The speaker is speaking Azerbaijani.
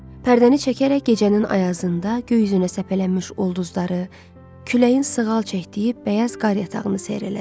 Pərdəni çəkərək gecənin ayazında göy üzünə səpələnmiş ulduzları, küləyin sığal çəkdiyi bəyaz qar yatağını seyr elədi.